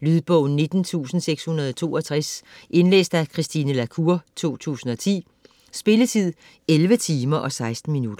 Lydbog 19662 Indlæst af Christine La Cour, 2010. Spilletid: 11 timer, 16 minutter.